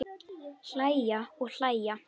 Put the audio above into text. Hlæja og hlæja.